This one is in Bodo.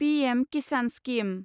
PM Kisan scheme